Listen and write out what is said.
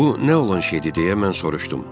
Bu nə olan şeydir, deyə mən soruşdum.